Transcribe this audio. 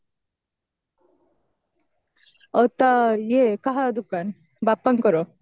ଆଉ ତା ଇଏ କାହା ଦୁକାନ ବାପାଙ୍କର